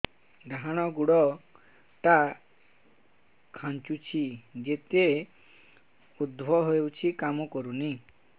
ଡାହାଣ ଗୁଡ଼ ଟା ଖାନ୍ଚୁଚି ଯେତେ ଉଷ୍ଧ ଖାଉଛି କାମ କରୁନି